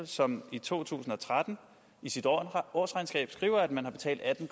som i to tusind og tretten i sit årsregnskab skriver at man har betalt atten